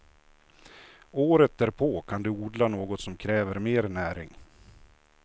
Året därpå kan du odla något som kräver mer näring.